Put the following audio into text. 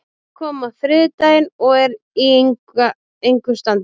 Hann kom á þriðjudaginn og er í engu standi.